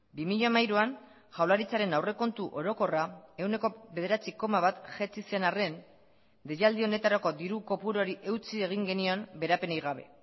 bi mila hamairuan jaurlaritzaren aurrekontu orokorra ehuneko bederatzi koma bat jaitsi zen arren deialdi honetarako diru kopuruari eutsi egin genion beherapenik gabe